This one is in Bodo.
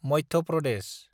मध्य प्रदेश